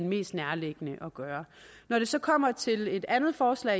mest nærliggende at gøre når det så kommer til et andet forslag